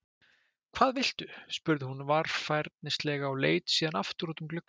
Hvað viltu? spurði hún varfærnislega og leit síðan aftur út um gluggann.